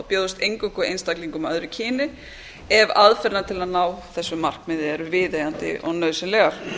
bjóðist eingöngu einstaklingum af öðru kyni ef aðferðirnar til að ná þessu markmiði eru viðeigandi og nauðsynlegar